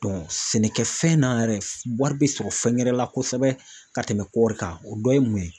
Dɔn sɛnɛkɛfɛn na yɛrɛ wari be sɔrɔ fɛngɛrɛ la kosɛbɛ ka tɛmɛ kɔɔri kan o dɔ ye mun ye